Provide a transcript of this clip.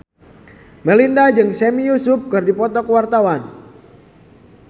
Melinda jeung Sami Yusuf keur dipoto ku wartawan